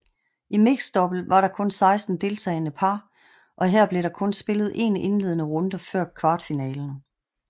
I mixdouble var der kun 16 deltagende par og her blev der kun spillet 1 indledende runder før kvartfinalerne